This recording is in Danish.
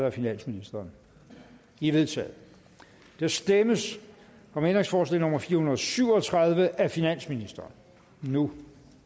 af finansministeren de er vedtaget der stemmes om ændringsforslag nummer fire hundrede og syv og tredive af finansministeren nu